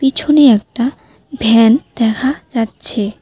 পিছনে একটা ভ্যান দেখা যাচ্ছে।